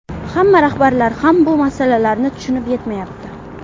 hamma rahbarlar ham bu masalalarni tushunib yetmayapti.